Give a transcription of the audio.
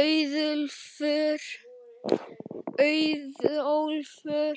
Auðólfur,